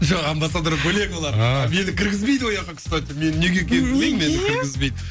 жоқ амбассадор бөлек олар ааа мені кіргізбейді ояққа кстати мен неге екенін мені кіргізбейді